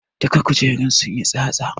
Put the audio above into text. Duka kujerun sunyi tsatsa